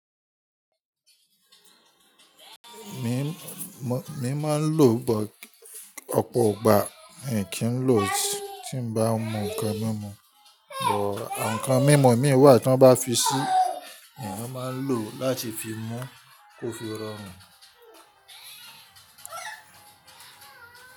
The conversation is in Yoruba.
Mi máa ń lò but, ọ̀pọ̀ igbà, i kí ń lò tí ń bá mú nǹkan mímú. But àwọn nǹkan mímú imi wà tí wọ́n bá fi sí, eèyan máa lò láti fi mú, kó fi rọrùn.